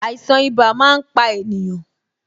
Àìsàn ibà máa ń pa ènìyàn